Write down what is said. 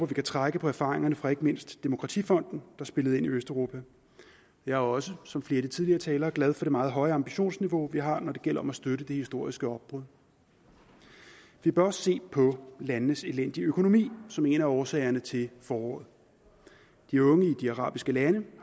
vi kan trække på erfaringerne fra ikke mindst demokratifonden der spillede ind i østeuropa jeg er også som flere af de tidligere talere glad for det meget høje ambitionsniveau vi har når det gælder om at støtte det historiske opbrud vi bør også se på landenes elendige økonomi som en af årsagerne til foråret de unge i de arabiske lande